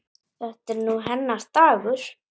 Þetta er nú hennar dagur.